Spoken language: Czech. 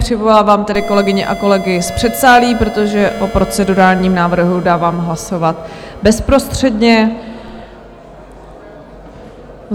Přivolávám tedy kolegyně a kolegy z předsálí, protože o procedurálním návrhu dávám hlasovat bezprostředně.